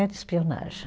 É de espionagem.